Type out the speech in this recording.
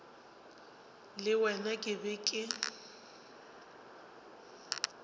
le wena ke be ke